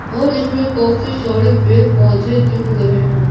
और इसमें काफी सारे पेड़-पौधे दिख रहे हैं।